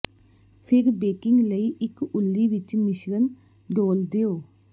ਫਿਰ ਬੇਕਿੰਗ ਲਈ ਇੱਕ ਉੱਲੀ ਵਿੱਚ ਮਿਸ਼ਰਣ ਡੋਲ੍ਹ ਦਿਓ